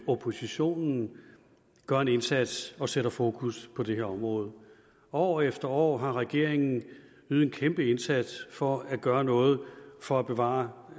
oppositionen gør en indsats og sætter fokus på det her område år efter år har regeringen ydet en kæmpe indsats for at gøre noget for at bevare